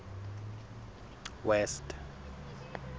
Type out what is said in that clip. west